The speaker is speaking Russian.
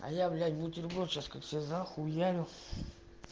а я блядь бутерброт сейчас себе как захуярю